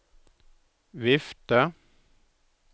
vifte